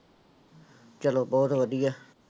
ਚਲੋ ਬਹੁਤ ਵਧੀਆ।